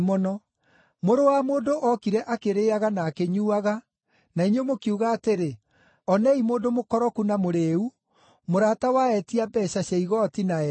Mũrũ wa Mũndũ ookire akĩrĩĩaga na akĩnyuuaga, na inyuĩ mũkiuga atĩrĩ, ‘Onei mũndũ mũkoroku na mũrĩĩu, mũrata wa etia mbeeca cia igooti na “ehia”.’